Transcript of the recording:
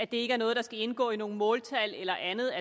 det ikke er noget der skal indgå i nogle måltal eller andet